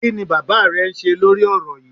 Kí ni bàbá rẹ ń ṣe lórí ọ̀rọ̀ yíì?